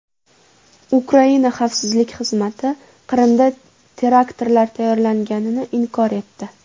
Ukraina xavfsizlik xizmati Qrimda teraktlar tayyorlanganini inkor etdi.